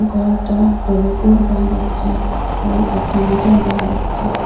কয়েকটা ফেভিকুড দেখা যাচ্ছে এবং একটা মিটার দেখা যাচ্ছে।